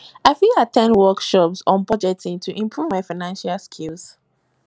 i fit at ten d workshops on budgeting to improve my financial skills